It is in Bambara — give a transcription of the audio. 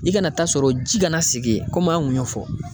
I kana taa sɔrɔ ji kana segin yen komi an kun y'o fɔ.